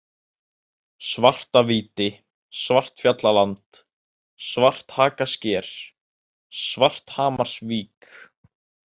Svartavíti, Svartfjallaland, Svarthakasker, Svarthamarsvík